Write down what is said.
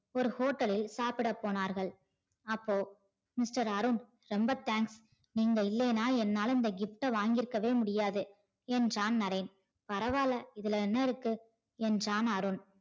ஒரு hotel லில் சாப்பிடப் போனார்கள் அப்போ mister அருண் ரொம்ப thanks நீங்கள் இல்லையின்னா என்னால இந்த gift வாங்கி இருக்கவே முடியாது என்றான் நரேன். பரவால்ல இதுல என்ன இருக்கு என்றான் அருண்.